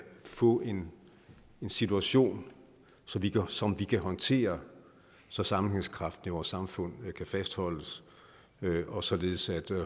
får en situation som vi kan håndtere så sammenhængskraften i vores samfund kan fastholdes og således at